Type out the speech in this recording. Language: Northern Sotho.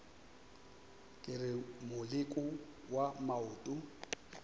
ke re moleko wa maoto